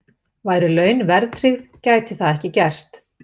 Væru laun verðtryggð gæti það ekki gerst.